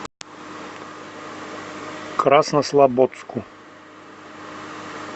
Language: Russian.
краснослободску